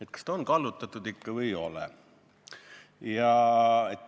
Et kas ta on kallutatud või ei ole.